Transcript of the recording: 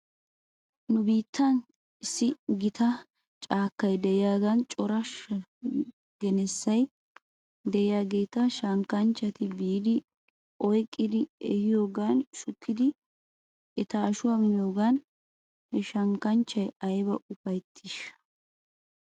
Nu biittan issi gita caakkay de'iyaagan cora genessay de'iyaageeta shankkanchchati biidi oyqqidi ehiyoogan shukkidi eta ashuwaa miyoogan he shankkanchchay ayba ufaytiishsha?